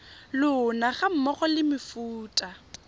lona ga mmogo le mefuta